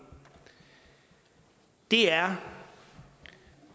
er